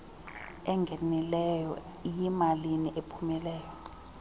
engenileyo iyimalini ephumileyo